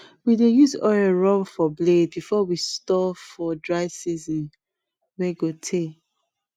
we dey use oil rub for blade before we store for dry season wey go tey